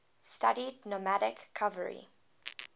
studied nomadic cavalry